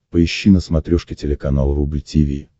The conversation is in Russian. поищи на смотрешке телеканал рубль ти ви